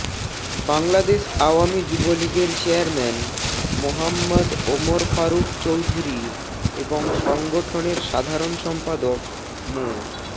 বাংলাদেশ আওয়ামী যুবলীগের চেয়ারম্যান মোহাম্মদ ওমর ফারুক চৌধুরী এবং সংগঠনের সাধারণ সম্পাদক মো